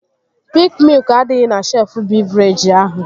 Piik miụk adịghị na shelfụ bịvrejị ahụ